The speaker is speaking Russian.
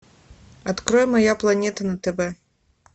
открой моя планета на тв